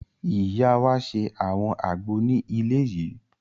Ìyá wa ṣe àwọn àgbo ní ilé yìí